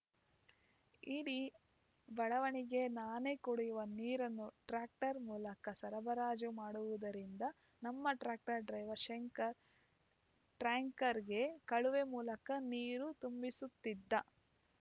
ಇಡೀ ಬಡಾವಣೆಗೆ ನಾನೇ ಕುಡಿಯುವ ನೀರನ್ನು ಟ್ಯಾಂಕರ್‌ ಮೂಲಕ ಸರಬರಾಜು ಮಾಡುವುದರಿಂದ ನಮ್ಮ ಟ್ಯಾಕ್ಟರ್‌ ಡ್ರೈವರ್‌ ಶಂಕರ್‌ ಟ್ರಂಕರ್ಗೆ ಕಳುವೆ ಮೂಲಕ ನೀರು ತುಂಬಿಸುತ್ತಿದ್ದ